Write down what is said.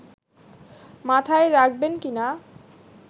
মাথায় রাখবেন কিনা